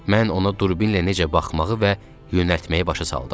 Mən ona durbinlə necə baxmağı və yönəltməyi başa saldım.